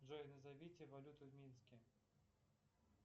джой назовите валюту в минске